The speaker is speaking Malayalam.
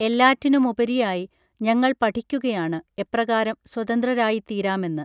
എല്ലാറ്റിനുമുപരിയായി ഞങ്ങൾ പഠിക്കുകയാണ് എപ്രകാരം സ്വതന്ത്രരായിത്തീരാമെന്ന്